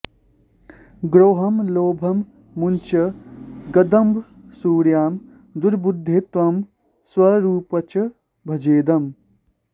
द्रोहं लोभं मुञ्च दम्भमसूयां दुर्बुद्धे त्वं स्वरूपञ्च भजेदम्